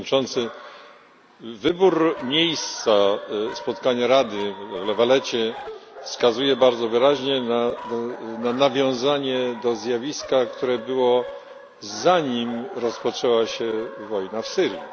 Panie Przewodniczący! Wybór miejsca spotkania Rady w La Valetcie wskazuje bardzo wyraźnie na nawiązanie do zjawiska, które było, zanim rozpoczęła się wojna w Syrii.